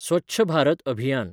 स्वच्छ Bharat अभियान